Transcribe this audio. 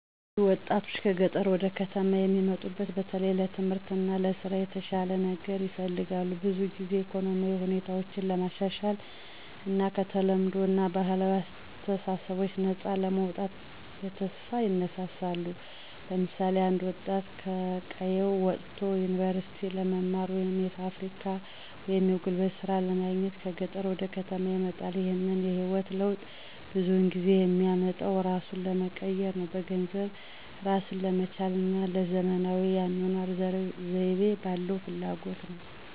ብዙ ወጣቶች ከገጠር ወደ ከተማ የሚሙጡት በተለይ ለትምህርት እና ለስራ የተሻለ ነገር ይፈልጋሉ። ብዙውን ጊዜ ኢኮኖሚያዊ ሁኔታቸውን ለማሻሻል እና ከተለምዷዊ እና ባህላዊ አስተሳሰቦች ነፃ ለመውጣት በተስፋ ይነሳሳሉ። ለምሳሌ አንድ ወጣት ከቀየው ወጥቶ ዩኒቨርሲቲ ለመማር ወይም የፋብሪካ ወይም የጉልበት ሥራ ለማግኘት ከገጠር ወደ ከተማ ይመጣል። ይህንን የህይወት ለውጥ ብዙውን ጊዜ የሚመጣው እራሱን ለመቀየር፣ በገንዘብ እራስን ለመቻል እና ለዘመናዊ የአኗኗር ዘይቤ ባለው ፍላጎት ነው።